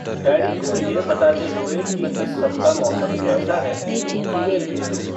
daddy को यह बताते हुए की इस सप्ताह मौसम कैसा है एक ईमेल भेजो